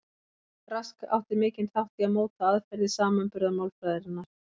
Rask átti mikinn þátt í að móta aðferðir samanburðarmálfræðinnar.